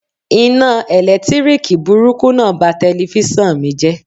Iná ẹ̀lẹ́tíríkì burúkú náà ba telifíṣàn mi jẹ́.